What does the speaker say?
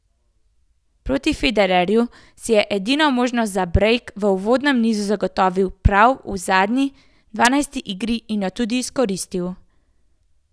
Proti Federerju si je edino priložnost za brejk v uvodnem nizu zagotovil prav v zadnji, dvanajsti igri, in jo tudi izkoristil.